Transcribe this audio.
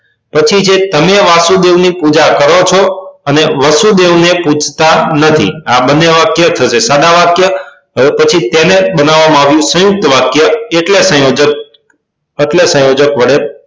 પછી જે તમે વાસુદેવ ની પૂજા કરો છો અને વસુદેવ ને પુંજતા નથી આ બંને વાક્ય થશે સાદા વાક્ય હવે પછી તેને બનાવવામાં આવ્યું સયુંકત વાક્ય એટલે સંયોજક એટલે સંયોજક વડે